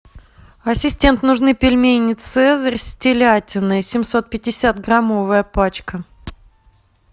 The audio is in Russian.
ассистент нужны пельмени цезарь с телятиной семьсот пятьдесят граммовая пачка